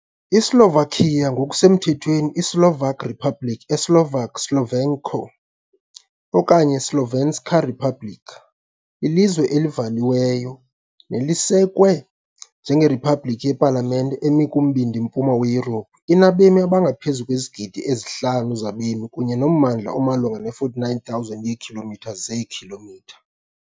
ISlovakia, ngokusemthethweni iSlovak Republic, eSlovak "Slovensko" okanye "iSlovenská republika", lilizwe elivaliweyo nelisekwe njengeriphabliki yepalamente emi kumbindi-mpuma weYurophu. Inabemi abangaphezu kwezigidi ezi-5 zabemi kunye nommandla omalunga ne-49,000 yeekhilomitha zeekhilomitha.